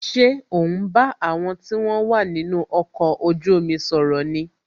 Ṣé o ń bá àwọn tí wọn wà nínú ọkọ̀ ojú omi sọ̀rọ̀ ni